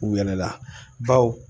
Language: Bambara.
U yɛlɛla baw